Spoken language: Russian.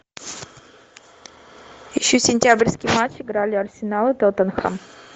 ищи сентябрьский матч играли арсенал и тоттенхэм